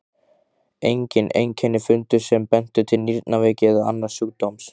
Engin einkenni fundust sem bentu til nýrnaveiki eða annars sjúkdóms.